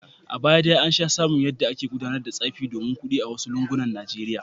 A baya dai an sha samun yadda ake gudanar da tsafi domin kudi a wasu lungunan Najeriya.